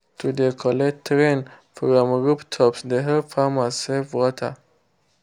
to de collect rain from rooftops de help farmers save water.